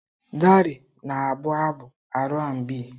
Darey na-abụ abụ Aar&Bii.